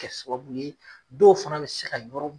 Kɛ sababu ye dɔw fana bi se ka yɔrɔ